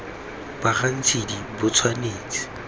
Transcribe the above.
ba ga ntshidi bo tshwanetse